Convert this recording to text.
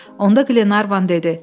Onda Qlenarvan dedi: